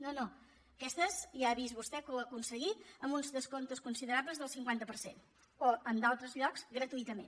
no no aquestes ja ha vist vostè que ho ha aconseguit amb uns descomptes considerables del cinquanta per cent o en d’altres llocs gratuïtament